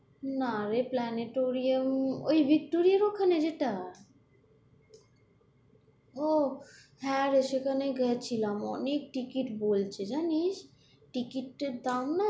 না রে প্ল্যানেটেরিয়াম ওই ভিক্টোরিয়ার ওখানে যেটা ও হ্যাঁ গো সেখানে গেছিলাম। অনেক টিকিট বলছে জানিস টিকিটের দাম না, "